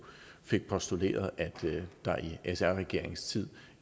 fik postuleret at der i sr regeringens tid